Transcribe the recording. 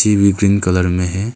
ये green colour में है।